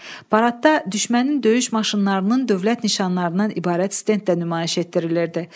Paradda düşmənin döyüş maşınlarının dövlət nişanlarından ibarət stend də nümayiş etdirilirdi.